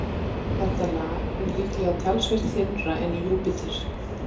Þetta lag er líklega talsvert þynnra en í Júpíter.